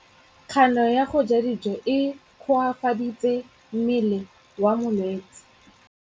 Kganô ya go ja dijo e koafaditse mmele wa molwetse.